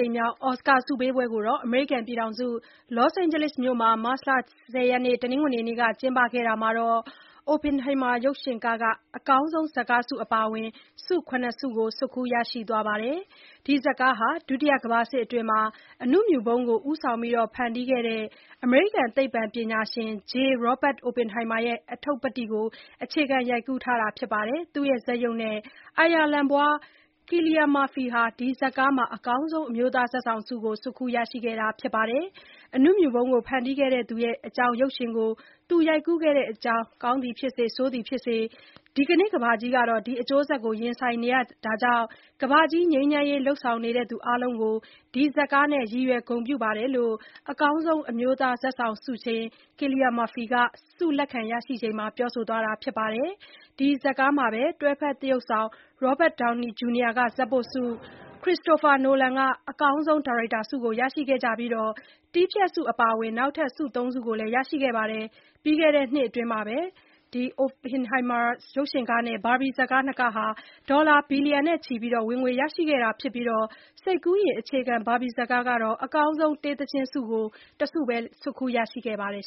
ိမ်မြောက် အော်စကာဆုပေးပွဲကို အမေရိကန်နိုင်ငံ လော့အိန်ဂျလိစ်မြို့မှာ မတ်လ ၁၀ ရက် တနင်္ဂနွေနေ့ကကျင်းပခဲ့တာမှာ Oppenheimer ရုပ်ရှင်ကားက အကောင်းဆုံးဇာတ်ကားဆု အပါအဝင် ဆု ၇ ခု သိမ်းပိုက်ခဲ့ပါတယ်။ ဒီဇာတ်ကားက ဒုတိယကမ္ဘာစစ်အတွင်းက အဏုမြူဗုံးကို ဦးဆောင်ဖန်တီးခဲ့တဲ့ အမေရိကန်သိပ္ပံပညာရှင် J. Robert Oppenheimer ရဲ့ အတ္ထုပ္ပတ္တိကို အခြေခံရိုက်ကူးထားတာပါ။ Oppenheimer ဇာတ်ရုပ်နဲ့ အိုင်ယာလန်ဖွား Cillian Murphyက ဒီဇာတ်ကားမှာ အကောင်းဆုံးအမျိုးသား ဇာတ်ဆောင်ဆု ဆွတ်ခူးရခဲ့ပါတယ်။ အဏုမြူဗုံးကို ဖန်တီးခဲ့သူအကြောင်း ရုပ်ရှင်ကို သူရိုက်ကူးခဲ့တဲ့ အကြောင်းနဲ့ ဆိုးသည်ဖြစ်စေ၊ ကောင်းသည်ဖြစ်စေ ဒီနေ့ကမ္ဘာကြီးဟာ ဒီအကျိုးဆက်တွေနဲ့ ရင်ဆိုင်နေကြတာကြောင့် ကမ္ဘာကြီးငြိမ်းချမ်းရေး လုပ်ဆောင်နေသူအားလုံးကို ဒီဇာတ်ကားနဲ့ ရည်ရွယ်ဂုဏ်ပြုပါတယ်လို့ အကောင်းဆုံးအမျိုးသား ဇာတ်ဆောင်ဆုရှင် Cillian Murphy ကပြောဆိုပါတယ်။ ဒီဇာတ်ကားမှာပဲ တွဲဖက်သရုပ်ဆောင် Robert Downey Junior က ဇာတ်ပို့ဆု၊ Christopher Nolan က အကောင်းဆုံး ဒါရိုက်တာဆုတွေကို ရရှိခဲ့ကြသလို တည်းဖြတ်ဆု အပါအဝင် နောက်ထပ် ၃ ဆုလည်း ရခဲ့ပါတယ်။ ပြီးခဲ့တဲ့နှစ်ထဲ Oppenheimer ရုပ်ရှင်ဇာတ်ကားနဲ့ Barbie ဇာတ်ကားနှစ်ကားက ဒေါ်လာဘီလီယံနဲ့ ချီဝင်ငွေရခဲ့တာပါ။ စိတ်ကူးယဉ် အခြေခံ Barbie ဇာတ်ကားက အကောင်းဆုံး တေးသီချင်းဆုတခုပဲ ဆွတ်ခူးခဲ့ပါတယ်